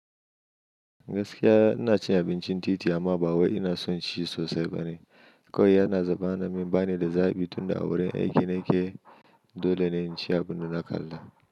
Gaskiya inacin abincin titi amma ba wai ina sonci sosai bane. Kawai yana zaba namin banida zabi tunda a wurin aiki nake dolene inci abinda na kalla.